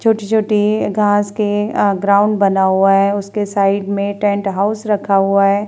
छोटी-छोटी घास के अ ग्राउंड बना हुआ है। उसके साइड में टेंट हाउस रखा हुआ है।